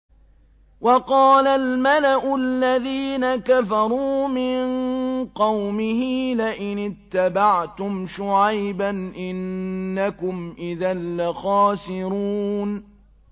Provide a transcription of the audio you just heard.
وَقَالَ الْمَلَأُ الَّذِينَ كَفَرُوا مِن قَوْمِهِ لَئِنِ اتَّبَعْتُمْ شُعَيْبًا إِنَّكُمْ إِذًا لَّخَاسِرُونَ